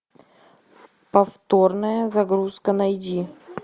повторная загрузка найди